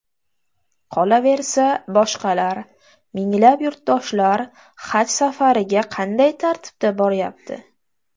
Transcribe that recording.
Qolaversa, boshqalar, minglab yurtdoshlar haj safariga qanday tartibda boryapti?